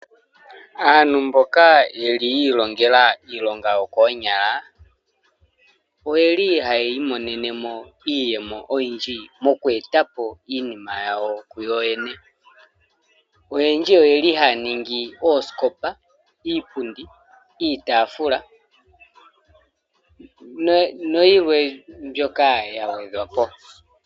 Aantu mboka yeli yi ilongela iilonga yookonyala oyeli haya imonene mo iiyemo yawo oyindji moku eta po iinima yawo kuyo yene oyendji oyeli haa ningi oosikopa, iipundi, iitafula noyilwe mbyoka ya gwedhwa po.